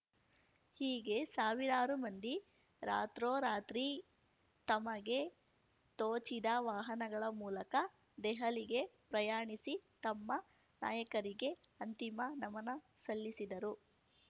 ಹೀಗೆ ಸಾವಿರಾರು ಮಂದಿ ರಾತ್ರೋರಾತ್ರಿ ತಮಗೆ ತೋಚಿದ ವಾಹನಗಳ ಮೂಲಕ ದೆಹಲಿಗೆ ಪ್ರಯಾಣಿಸಿ ತಮ್ಮ ನಾಯಕಗೆ ಅಂತಿಮ ನಮನ ಸಲ್ಲಿಸಿದರು